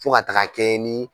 Fo ka taaga kɛ nin.